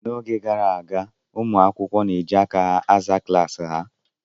N'oge gara aga, ụmụ akwụkwọ na-eji aka ha aza klaasị ha